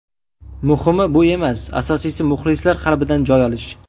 Muhimi bu emas, asosiysi muxlislar qalbidan joy olish.